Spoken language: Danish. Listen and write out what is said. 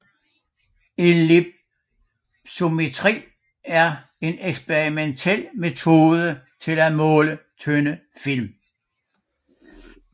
Ellipsometri er en eksperimentel metode til at måle tynde film